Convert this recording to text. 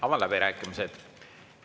Avan läbirääkimised.